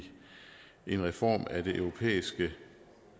en reform af det europæiske